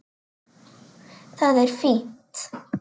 Það er fínt.